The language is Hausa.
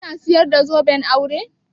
Kina sayar da zoben aure?